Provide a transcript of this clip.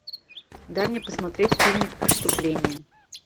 дай мне посмотреть фильмик преступление